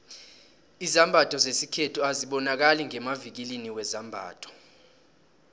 izambatho zesikhethu azibonakali ngemavikilini wezambatho